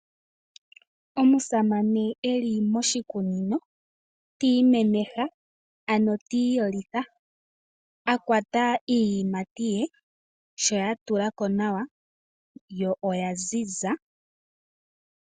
Omusamane eli moshikunino ti imemeha, ano ti iyolitha a kwata iiyimati ye sho ya tula ko nawa yo oya ziza.